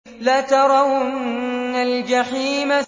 لَتَرَوُنَّ الْجَحِيمَ